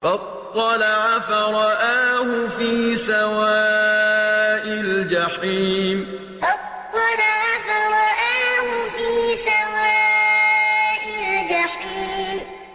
فَاطَّلَعَ فَرَآهُ فِي سَوَاءِ الْجَحِيمِ فَاطَّلَعَ فَرَآهُ فِي سَوَاءِ الْجَحِيمِ